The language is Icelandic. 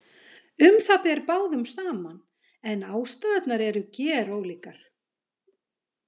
Um það ber báðum saman en ástæðurnar eru gerólíkar.